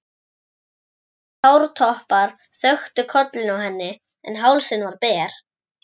Stuttir hártoppar þöktu kollinn á henni en hálsinn var ber.